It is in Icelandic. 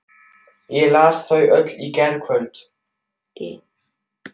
Ég las þau öll í gærkvöldi.